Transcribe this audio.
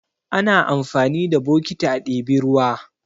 Ana amfani da bokiti a ɗebi ruwa.